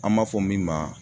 An b'a fɔ min ma